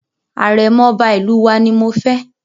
Àrẹ̀mọ̀ Ọba ìlú wa ni mo fẹ́.